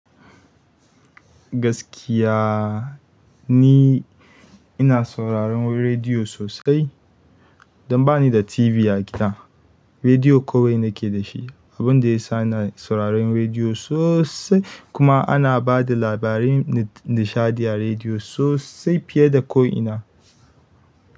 Gaskiya ni ina sauraran rediyo sosai, dan bani da TV a gida rediyo kawai nake da shi, abun da ya sa ina sauraron rediyo sosai. Kuma ana ba da labarai da nishaɗi a rediyo sosai fiye da ko'ina.